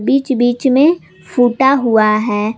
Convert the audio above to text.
बीच बीच में फूटा हुआ है।